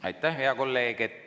Aitäh, hea kolleeg!